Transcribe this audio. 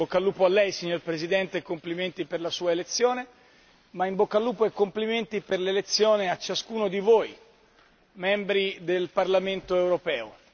In bocca al lupo a Lei, signor Presidente, e complimenti per la Sua elezione, ma in bocca al lupo e complimenti per l'elezione a ciascuno di voi membri del Parlamento europeo.